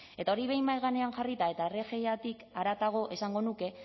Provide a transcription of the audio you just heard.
eta hori behin mahai gainean jarrita eta rgitik haratago esango nuke